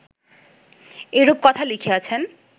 এরূপ কথা লিখিয়াছেন